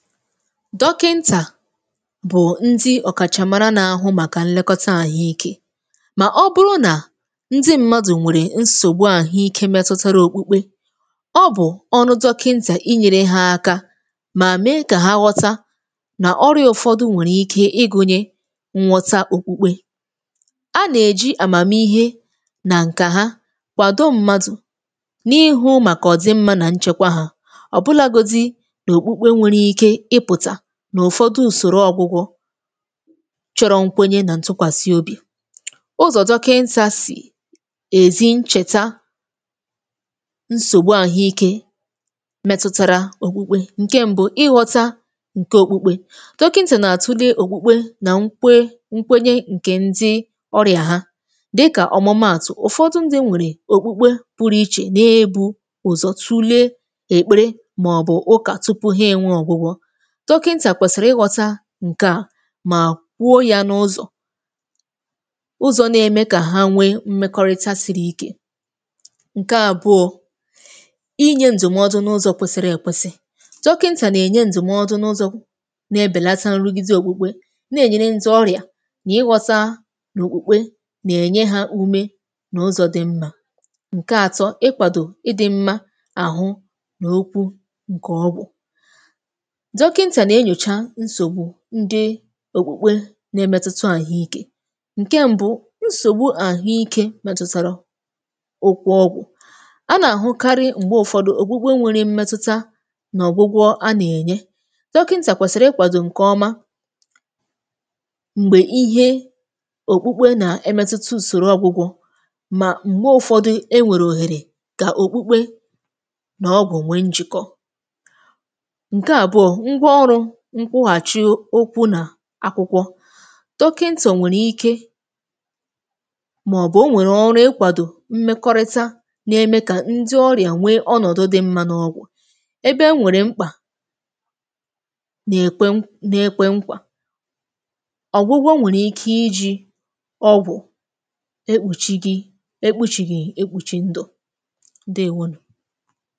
Dọkịntà bụ ndị ọ̀kàchà mara n’ahụ màkà nlekọta àhụikė, mà ọ bụrụ nà ndị mmadụ̀ nwèrè nsògbu àhụikė metụtara òkpukpe, ọ bụ̀ ọrụ dọkịntà inyėrė ha aka mà mee kà ha ghọta nà ọrịa ụ̀fọdụ nwèrè ike ịgụ̇nyė nghọta òkpukpe. A nà-èji àmàmihe nà ǹkà ha kwàdò mmadụ̀ n’ihu màkà ọ̀ dị mmȧ nà nchekwa hà, ọ̀bụlàgodi nà òkpukpe enweghị ike ịpụ̀tà n’ụ̀fọdụ ùsòro ọ̇gwụgwọ chọ̀rọ̀ nkwenye nà ntụkwàsị obi. Ụzọ̀ dọkịntà sì èzi nchèta nsògbu àhụikė metụtara òkpukpe, ǹkè m̀bụ, ịghọta ǹkè òkpukpe, dọkịntà nà-tule òkpukpe nà nkwe nkwenye ǹkè ndị ọrịa ha dịkà ọ̀mụmaàtụ̀. Ụ̀fọdụ ndị nwèrè òkpukpe pụrụ ichè n’ebu ụ̀zọ̀ tụọ̀le èkpere màọbụ̀ ụkà tupu ha enwe ọ̀gwụgwọ̇, dọkịntà kwẹ̀sị̀rị ịghọ̇ta ǹkẹ̀ à mà kwuo ya n’ụzọ̀, ụzọ̀ na-eme kà ha nwee mmẹkọrịta siri ike. Ǹkè àbụọ, inyė ǹdụ̀mọdụ n’ụzọ̇ kwẹsịrị èkwesị, dọkịntà nà-ènye ǹdụ̀mọdụ n’ụzọ̇ na-ebèlata nrụgide òkpukpe, na-ènyere ndị ọrịa nà ịghọ̇ta nà òkpukpe nà-ènye ha ume nà ụzọ̀ dị mmȧ. Ǹkè àtọ, ịkwàdò ịdị̇mmȧ àhụ n’okwu ǹkè ọgwụ̀, dọkịntà nà-enyocha nsògbu ndị òkpukpe na-emetụta àhụikė. Ǹkè m̀bụ, nsògbu àhụikė metụtàrà okwu ọgwụ̇, a nà-àhụ karị m̀gbe ụ̀fọdụ òkpukpe nwere mmetụta nà ọ̀gwụgwọ a nà-ènye, dọkịntà kwèsìrì ịkwàdò ǹkè ọ̀ma m̀gbè ihe òkpukpe nà-emetụta ùsòrò ọgwụgwọ̇ mà m̀gbè ụ̀fọdụ enwèrè òhèrè kà òkpukpe nà ọgwụ̀ nwe njị̀kọ. Ǹkè àbụọ, ngwọ̀ọrụ nkwughachi ụkwụ nà akwụkwọ, dọkịntà nwèrè ike nwèrè ike màọbụ̀ o nwèrè ọrụ ịkwàdò mmekọrịta nà-eme kà ndị ọrịa nwee ọnọ̀dụ dị mmȧ n’ọgwụ̀, ebe enwèrè mkpà nà-ekwe um n’ekwe mkpà. Ọ̀gwụgwọ nwèrè ike iji̇ ọgwụ̀ ekpùchìghị ekpùchìghị ekpùchì ndù. Ǹdeèwonù.